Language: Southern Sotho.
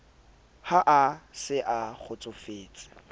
ha a se a kgotsofetse